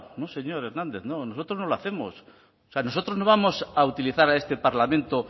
no señor hernández no nosotros no lo hacemos o sea nosotros no vamos a utilizar a este parlamento